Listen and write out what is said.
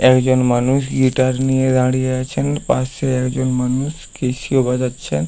একজন মানুষ গিটার নিয়ে দাঁড়িয়ে আছেন । পাশে একজন মানুষ ক্যাসিও বাজাচ্ছে।